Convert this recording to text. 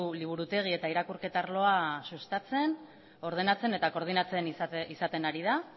liburutegi eta irakurketa arloa sustatzen ordenatzen eta koordinatzen izaten ari da